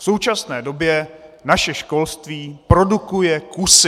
V současné době naše školství produkuje kusy.